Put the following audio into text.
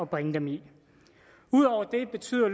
bringe dem i ud over det betyder